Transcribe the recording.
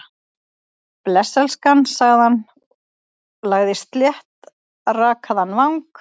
Bless, elskan- sagði hann, lagði sléttrakaðan vang